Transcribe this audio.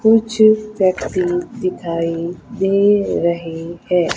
कुछ दिखाई दे रहे हैं।